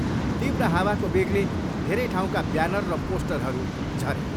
तीव्र हावाको वेगले धेरै ठाउँका ब्यानर र पोस्टरहरू झरे।